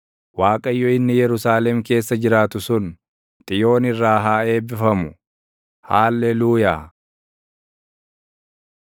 Waaqayyo inni Yerusaalem keessa jiraatu sun, Xiyoon irraa haa eebbifamu. Haalleluuyaa!